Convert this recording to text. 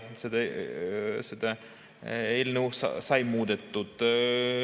Eelnõu sai muudetud.